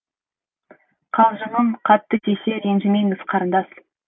қалжыңым қатты тисе ренжімеңіз қарындас